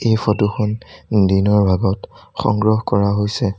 এই ফটোখন দিনৰ ভাগত সংগ্ৰহ কৰা হৈছে।